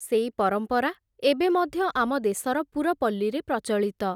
ସେଇ ପରମ୍ପରା, ଏବେ ମଧ୍ୟ ଆମ ଦେଶର ପୁରପଲ୍ଲୀରେ ପ୍ରଚଳିତ ।